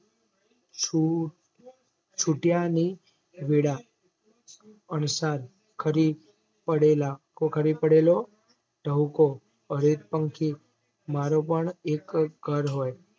છૂટ છૂટ્યાની વેળા અણસાર ખરી પડેલા પડેલો ધવકો અહિતપંખી મારો પણ એક ઘર હોય